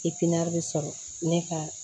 sɔrɔ ne ka